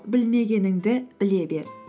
білмегеніңді біле бер